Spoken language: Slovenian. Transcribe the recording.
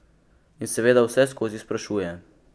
In seveda vseskozi sprašuje.